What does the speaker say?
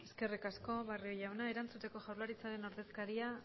eskerrik asko barrio jauna erantzuteko jaurlaritzaren ordezkaria